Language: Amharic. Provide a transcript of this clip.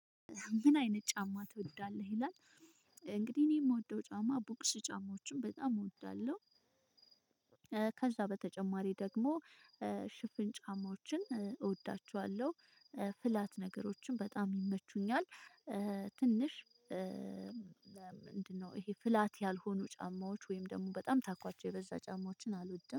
ምን አይነት ጫማ ትወዳለህ ይላል? እንግዲህ እኔ የምወደው ጫማ ቡክስ ጫማዎችን በጣም እወዳለሁ። ከዛ በተጨማሪ ደግሞ ሽፍን ጫማዎችን እወዳችዋለሁ። ፍላት ነገሮችን በጣም ይመቹኛል። ትንሽ ምንድነው ይሄ ፍላት ያልሆኑ ጫማዎች ወይም ደግሞ በጣም ታኳቸው የበዛ ጫማዎችን አልወድም